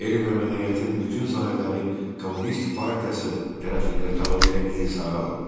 Elm və mədəniyyətin bütün sahələri Kommunist partiyası tərəfindən tamamilə insara alındı.